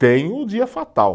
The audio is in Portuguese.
Tem o dia fatal.